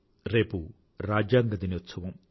రేపు రాజ్యాంగ దినోత్సవం